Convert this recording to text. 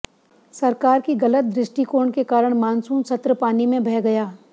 सरकार की गलत दृष्टिकोण के कारण मानसून सत्र पानी में बह गया